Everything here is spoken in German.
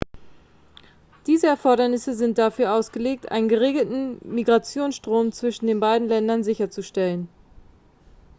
diese erfordernisse sind dafür ausgelegt einen geregelten migrationsstrom zwischen den beiden ländern sicherzustellen